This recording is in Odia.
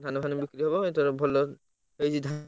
ଧାନ ଫାନ ସବୁ ବିକ୍ରିହବ ତେଣୁ ଭଲ ହେଇଛି ହେଇଛି ଧାନ।